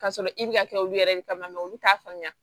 K'a sɔrɔ i bɛ ka kɛ olu yɛrɛ de kama olu t'a faamuya